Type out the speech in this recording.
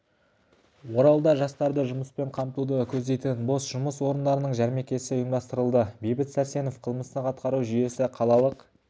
оралда жастарды жұмыспен қамтуды көздейтін бос жұмыс орындарының жәрмеңкесі ұйымдастырылды бейбіт сәрсенов қылмыстық атқару жүйесі қалалық